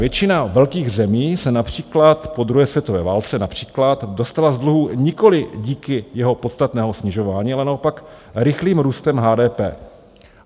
Většina velkých zemí se například po druhé světové válce například dostala z dluhů nikoli díky jeho podstatného snižování, ale naopak rychlým růstem HDP.